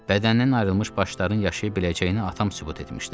Bədənindən ayrılmış başların yaşaya biləcəyini atam sübut etmişdi.